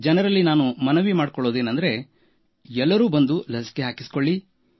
ಜನರಲ್ಲಿ ನಾನು ಮನವಿ ಮಾಡುವುದೇನೆಂದರೆ ಎಲ್ಲರೂ ಬಂದು ಲಸಿಕೆ ಹಾಕಿಸಿಕೊಳ್ಳಿ